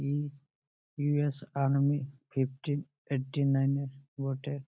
ই . U .S. Army fifteen eighty nine -এর বটে।